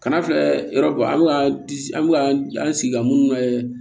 Kana filɛ yɔrɔ bɔ an bɛ ka an bɛ ka an sigi ka minnu kɛ